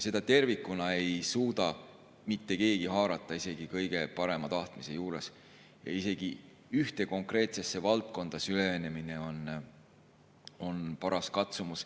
Tervikuna ei suuda seda haarata mitte keegi, isegi kõige parema tahtmise juures, ja ühte konkreetsesse valdkonda süveneminegi on paras katsumus.